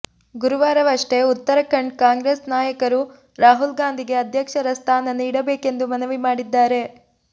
ಗುರುವಾರವಷ್ಟೆ ಉತ್ತರಖಂಡ್ ಕಾಂಗ್ರೆಸ್ ನಾಯಕರು ರಾಹುಲ್ ಗಾಂಧಿಗೆ ಅಧ್ಯಕ್ಷರ ಸ್ಥಾನ ನೀಡಬೇಕೆಂದು ಮನವಿ ಮಾಡಿದ್ದಾರೆ